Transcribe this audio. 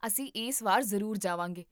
ਅਸੀਂ ਇਸ ਵਾਰ ਜ਼ਰੂਰ ਜਾਵਾਂਗੇ